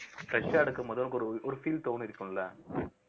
fresh ஆ எடுக்கும் போது உனக்கு ஒரு ஒரு feel தோணிருக்கும்ல